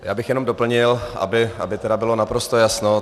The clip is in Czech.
Já bych jenom doplnil, aby tedy bylo naprosto jasno.